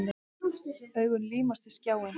Augun límast við skjáinn.